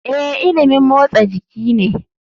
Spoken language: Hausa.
Ee, ilimin motsa jiki ne.